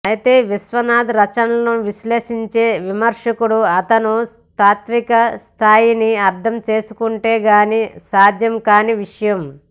అయితే విశ్వనాథ రచనలను విశ్లేషించే విమర్శకుడు అతను తాత్విక స్థాయిని అర్ధం చేసుకొంటే గాని సాధ్యం కాని విషయం